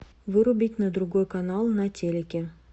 вырубить на другой канал на телике